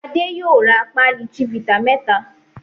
Adé yóò ra pálí Chivita mẹ́ta.